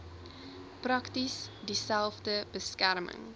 presies dieselfde beskerming